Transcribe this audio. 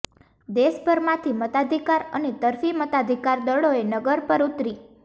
દેશભરમાંથી મતાધિકાર અને તરફી મતાધિકાર દળોએ નગર પર ઉતરી